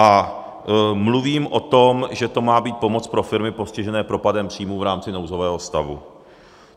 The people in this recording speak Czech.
A mluvím o tom, že to má být pomoc pro firmy postižené propadem příjmů v rámci nouzového stavu.